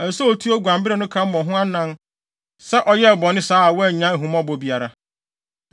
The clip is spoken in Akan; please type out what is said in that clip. Ɛsɛ sɛ otua oguan bere no ka mmɔ ho anan sɛ ɔyɛɛ bɔne saa a wannya ahummɔbɔ biara.”